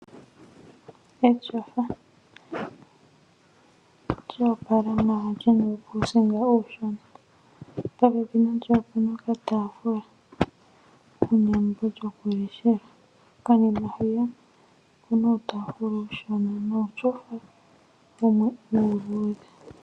Eshofa lya opala lyina uukusinga uushona popepi nalyo opuna okatafula kuna embo lyokuleshela, konima hwiya okuna uutafula uushona nuushofa wumwe uuludhe.